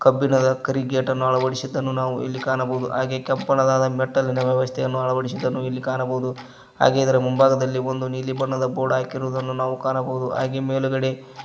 ಕಬ್ಬಿಣದ ಕರಿಗೇಟನ್ನು ಅಳವಡಿಸಿದ್ದನ್ನು ನಾವು ಇಲ್ಲಿ ಕಾಣಬಹುದು ಹಾಗೆ ಕೆಂಪನದಾದ ಮೆಟ್ಟಲಿನ ವ್ಯವಸ್ಥೆಯನ್ನು ಅಳವಡಿಸಿದನ್ನು ಇಲ್ಲಿ ಕಾಣಬಹುದು ಹಾಗೆ ಇದರ ಮುಂಭಾಗದಲ್ಲಿ ಒಂದು ನೀಲಿ ಬಣ್ಣದ ಬೋರ್ಡ್ ಹಾಕಿರುವುದನ್ನು ನಾವು ಕಾಣಬಹುದು ಹಾಗೆ ಮೇಲುಗಡೆ--